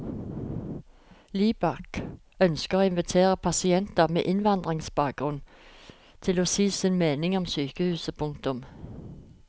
Libak ønsker å invitere pasienter med innvandrerbakgrunn til å si sin mening om sykehuset. punktum